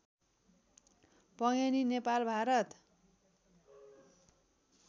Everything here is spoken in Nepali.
पङ्गेनी नेपाल भारत